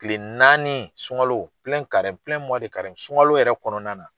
Kile naani sunkalo sunka yɛrɛ kɔnɔna na.